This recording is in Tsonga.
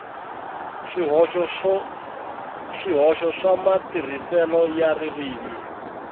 swihoxo swa matirhiselo ya ririmi